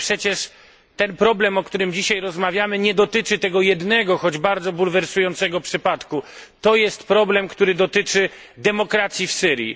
Ale przecież ten problem, o którym dzisiaj rozmawiamy, nie dotyczy tego jednego, choć bardzo bulwersującego przypadku. To jest problem, który dotyczy demokracji w Syrii.